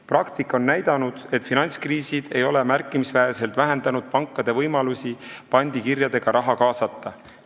Praktika on näidanud, et finantskriisid ei ole märkimisväärselt vähendanud pankade võimalusi pandikirjadega raha kaasata.